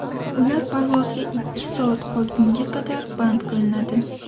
Ular parvozga ikki soat qolgunga qadar band qilinadi.